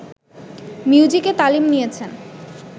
মিউজিকে তালিম নিয়েছেন